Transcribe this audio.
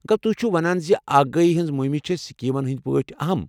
گوٚو تُہۍ چھِوٕ ونان زِ آگہی ہنٛز مُہمہٕ چھےٚ سکیمن ہنٛدۍ پٲٹھۍ اہم۔